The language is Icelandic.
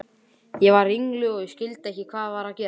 Ég varð ringluð og skildi ekki hvað var að gerast.